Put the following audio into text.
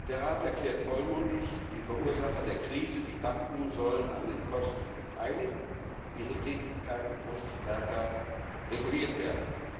Der Rat erklärt vollmundig, die Verursacher der Krise, die Banken, sollen an den Kosten beteiligt, ihre Tätigkeit muss stärker reguliert werden.